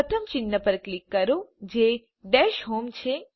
પ્રથમ ચિહ્ન પર ક્લિક કરો જે ડેશ હોમ છે